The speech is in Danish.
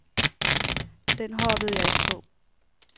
Den hoppede jeg ikke på.